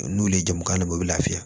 N'olu ye jamukan dɔ u bɛ lafiya